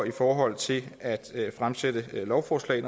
i forhold til at fremsætte lovforslag